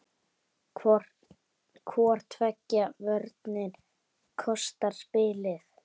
Hvor tveggja vörnin kostar spilið.